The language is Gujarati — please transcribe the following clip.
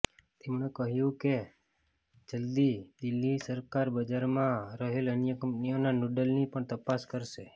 તેમણે કહ્યુ કે જલ્દી દિલ્હી સરકાર બજારમાં રહેલ અન્ય કંપનીઓના નૂડલની પણ તપાસ કરશે